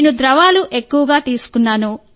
నేను ద్రవాలు ఎక్కువగా తీసుకున్నాను